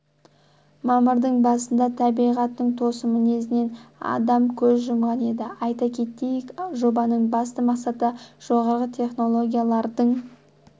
мамырдың басында табиғаттың тосын мінезінен адам көз жұмған еді айта кетейік жобаның басты мақсаты жоғары технологиялардың